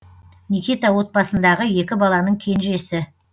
никита отбасындағы екі баланың кенжесі